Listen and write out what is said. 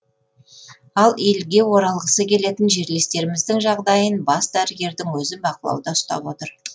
ал елге оралғысы келетін жерлестеріміздің жағдайын бас дәрігердің өзі бақылауда ұстап отыр